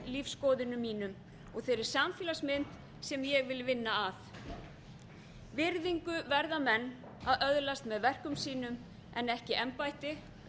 lífsskoðunum mínum og þeirri samfélagsmynd sem ég vil vinna að virðingu verða menn að öðlast með verkum sínum en ekki embætti